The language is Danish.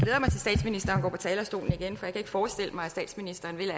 lang går på talerstolen igen for jeg kan ikke forestille mig at statsministeren vil